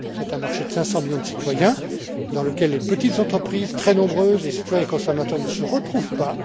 C'est un marché de 500 millions de citoyens dans lequel les petites entreprises très nombreuses les citoyens et consommateurs ne se retrouvent